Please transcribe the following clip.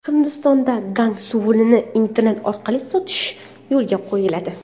Hindistonda Gang suvini internet orqali sotish yo‘lga qo‘yiladi.